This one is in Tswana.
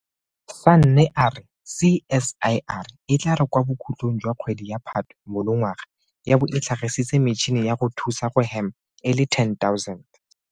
Sanne a re CSIR e tla re kwa bokhutlong jwa kgwedi ya Phatwe monongwaga ya bo e tlhagisitse metšhini ya go thusa go hema e le 10 000.